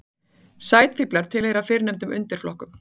Sæfíflar tilheyra fyrrnefnda undirflokknum.